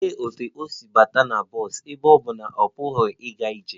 Olee otú o si banye bọs ebe ọ bụ na ọ pụghị ịga ije?